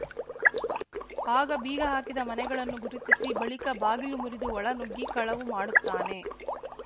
ಆಗ ಬೀಗ ಹಾಕಿದ ಮನೆಗಳನ್ನು ಗುರುತಿಸಿ ಬಳಿಕ ಬಾಗಿಲು ಮುರಿದು ಒಳ ನುಗ್ಗಿ ಕಳವು ಮಾಡುತ್ತಾನೆ